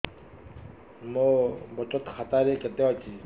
ମୋ ବଚତ ଖାତା ରେ କେତେ ଅଛି